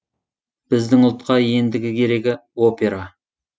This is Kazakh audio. біздің ұлтқа ендігі керегі опера